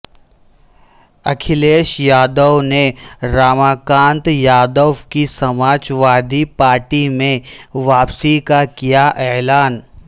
اکھیلیش یادو نے راماکانت یادو کی Samajwadi party میں واپسی کا کیا اعلان